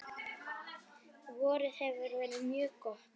Vorið hefur verið mjög gott.